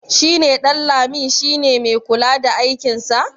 shi neƊanlami si ne mai kula da aikinsa